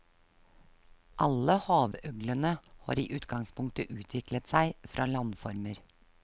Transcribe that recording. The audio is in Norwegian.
Alle havøglene har i utgangspunktet utviklet seg fra landformer.